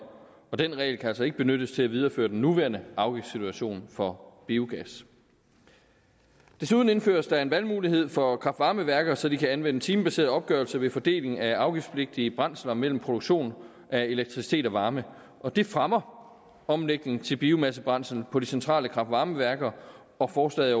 og den regel kan altså ikke benyttes til at videreføre den nuværende afgiftssituation for biogas desuden indføres der en valgmulighed for kraft varme værker så de kan anvende timebaseret opgørelse ved fordelingen af afgiftspligtige brændsler mellem produktion af elektricitet og af varme og det fremmer omlægningen til biomassebrændsel på de centrale kraft varme værker og forslaget